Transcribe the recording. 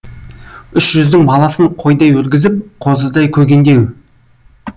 үш жүздің баласын қойдай өргізіп қозыдай көгендеу